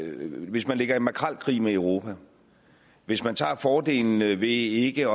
ind hvis man ligger i makrelkrig med europa og hvis man tager fordelene ved ikke